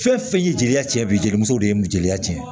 Fɛn fɛn ye jeliya tiɲɛ bi jelimuso de ye jeliya tiɲɛ